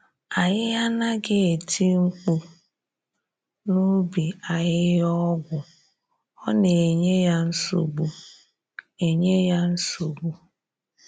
Anyị anaghị eti mkpu n’ubi ahịhịa ọgwụ, ọ na enye ya nsogbu. enye ya nsogbu.